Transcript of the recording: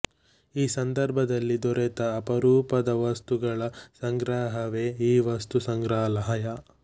ಈ ಸಂದರ್ಭದಲ್ಲಿ ದೊರೆತ ಅಪರೂಪದ ವಸ್ತುಗಳ ಸಂಗ್ರಹವೇ ಈ ವಸ್ತು ಸಂಗ್ರಹಾಲಯ